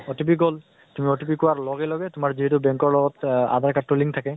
OTP গʼল, তুমি OTP কোৱা লগে লগে, তোমাৰ যিহেতু BANK ৰ লগত আধাৰ card তো link থাকে